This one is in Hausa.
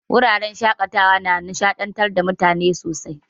Wuraren shaƙatawa na nishaɗantar da mutane sosai.